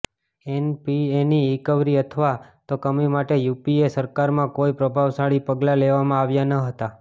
એનપીએની recovery અથવા તો કમી માટે યુપીએ સરકારમાં કોઇ પ્રભાવશાળી પગલા લેવામાં આવ્યા ન હતા